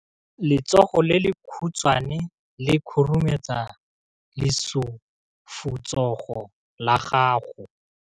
Letsogo le lekhutshwane le khurumetsa lesufutsogo la gago.